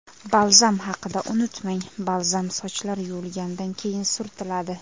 Balzam haqida unutmang Balzam sochlar yuvilganidan keyin surtiladi.